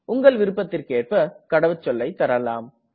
உங்கள் விருப்பத்திற்கேற்ப கடவுச்சொல்லை தரலாம்